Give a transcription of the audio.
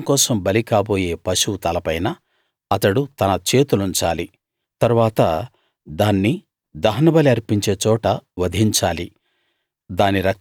పాపం కోసం బలి కాబోయే పశువు తలపైన అతడు తన చేతులుంచాలి తరువాత దాన్ని దహనబలి అర్పించే చోట వధించాలి